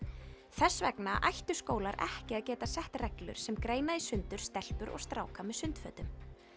þess vegna ættu skólar ekki að geta sett reglur sem greina í sundur stelpur og stráka með sundfötum